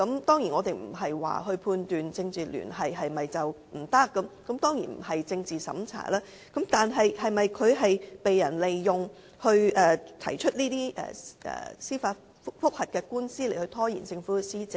當然，我們不是不容許有政治聯繫，當然也不是政治審查，但他是否被人利用提出這些司法覆核，藉此拖延政府施政呢？